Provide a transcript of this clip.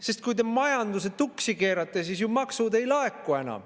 Sest kui te majanduse tuksi keerate, siis ju maksud ei laeku enam.